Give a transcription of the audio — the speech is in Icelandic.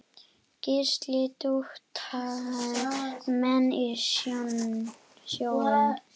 Gísli: Duttu menn í sjóinn?